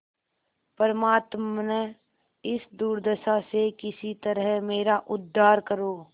परमात्मन इस दुर्दशा से किसी तरह मेरा उद्धार करो